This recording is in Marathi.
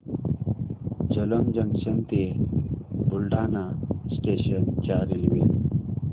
जलंब जंक्शन ते बुलढाणा स्टेशन च्या रेल्वे